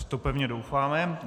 V to pevně doufáme.